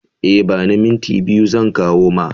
E, ba ni minti biyu zan kawo ma.